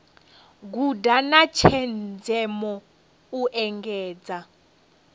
guda na tshenzhemo u engedza